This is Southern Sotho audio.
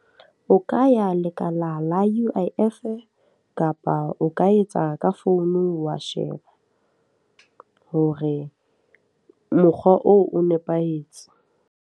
O ka ya lekala la U_I_F, kapa o ka etsa ka founu wa sheba. Hore mokgwa oo o nepahetse.